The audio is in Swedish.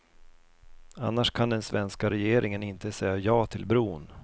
Annars kan den svenska regeringen inte säga ja till bron.